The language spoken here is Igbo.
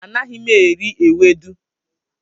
Anaghị m eri ewedu.